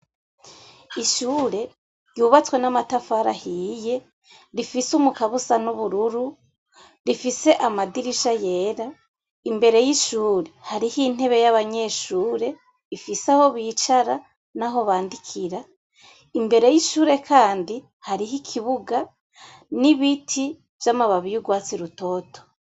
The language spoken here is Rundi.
Ishure ryubatswe n'amatafari ahiye, rifise umukaba usa nubururu , rifise amadirisha yera, imbere yishure hariho intebe yabanyeshure ifise aho bicara naho bandikira, imbere yishure kandi kandi hariho ibiti vy'amababi asa nurwatsi rutoto.